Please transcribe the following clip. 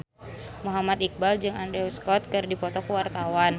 Muhammad Iqbal jeung Andrew Scott keur dipoto ku wartawan